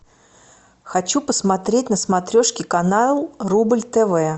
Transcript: хочу посмотреть на смотрешке канал рубль тв